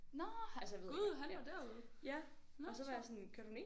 Nåh gud han var derude nåh hvor sjovt